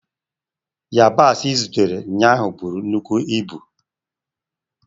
Yabasi ị zụtara ụnyaahụ buru nnukwu ibu.